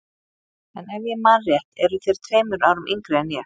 En ef ég man rétt eruð þér tveimur árum yngri en ég.